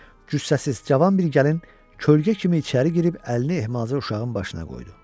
Cüssəsiz cavan bir gəlin kölgə kimi içəri girib əlini ehmalca uşağın başına qoydu.